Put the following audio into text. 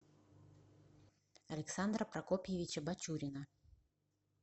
александра прокопьевича бачурина